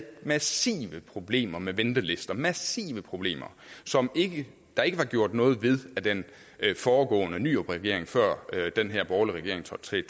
massive problemer med ventelister massive problemer som der ikke var gjort noget ved af den foregående nyrupregering før den her borgerlige regering trådte til i